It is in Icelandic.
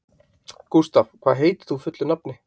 Gustav, hvað heitir þú fullu nafni?